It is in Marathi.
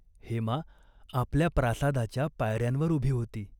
हेमा आपल्या प्रासादाच्या पायर्यांवर उभी होती.